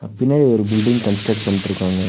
பின்னாடி ஒரு building construct பண்ட்ருக்காங்க.